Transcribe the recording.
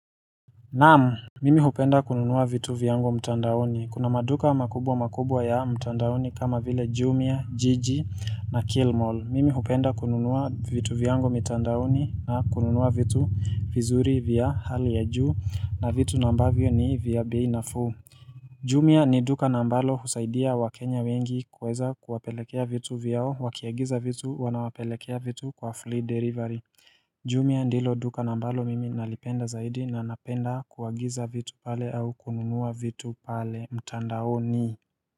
Naam Mimi hupenda kununua vitu vyangu mtandaoni kuna maduka makubwa makubwa ya mtandaoni kama vile Jumia, jiji na Kilmall Mimi hupenda kununua vitu vyangu mitandaoni na kununua vitu vizuri vya hali ya juu na vitu nambavyo ni vya bei nafuu Jumia ni duka na mbalo husaidia wakenya wengi kuweza kuwapelekea vitu vyao wakiagiza vitu wanapelekea vitu kwa flea delivery Jumia ndilo duka na ambalo mimi nalipenda zaidi na napenda kuagiza vitu pale au kununua vitu pale mtandaoni.